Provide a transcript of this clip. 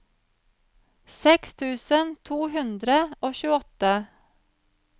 seks tusen to hundre og tjueåtte